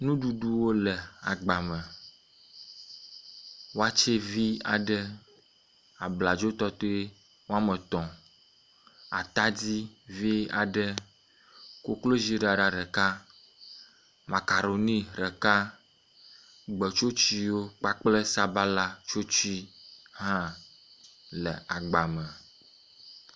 Nuɖuɖuwo le agba me, watse vi aɖe, abladzo tɔtɔe woe etɔ̃, atadi vi aɖe, koklozi ɖaɖa ɖeka, makaroni ɖeka, gbetsotsuewo kpakple sabala tsotsue hã le agba me